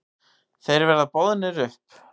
Þeir verða boðnir upp.